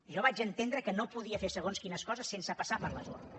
jo vaig entendre que no podia fer segons quines coses sense passar per les urnes